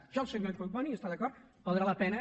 amb això el senyor collboni hi està d’acord valdrà la pena